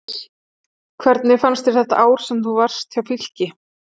Hvernig fannst þér þetta ár sem þú varst hjá Fylki?